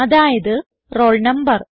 അതായത് roll number